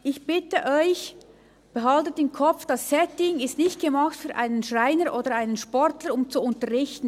Ich bitte Sie, behalten Sie im Kopf, dass das Setting nicht dafür gemacht ist, dass ein Schreiner oder ein Sportler unterrichtet.